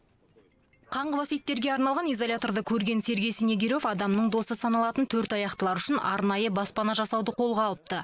қаңғыбас иттерге арналған изоляторды көрген сергей снегирёв адамның досы саналатын төртаяқтылар үшін арнайы баспана жасауды қолға алыпты